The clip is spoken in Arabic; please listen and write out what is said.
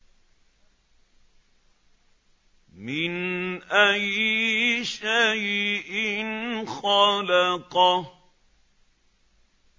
مِنْ أَيِّ شَيْءٍ خَلَقَهُ